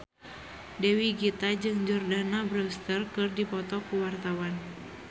Dewi Gita jeung Jordana Brewster keur dipoto ku wartawan